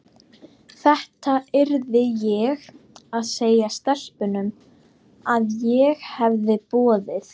Þetta yrði ég að segja stelpunum, að ég hefði boðið